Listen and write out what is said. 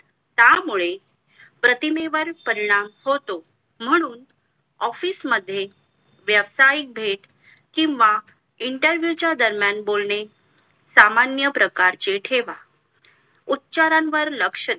त्यामुळे प्रतमेवर परिणाम होतो म्हणून office मध्ये व्यावसायिक भेट किंवा interview च्या दरम्यान बोलणे सामान्य प्रकारचे ठेवा उच्चारांवर लक्ष्य द्या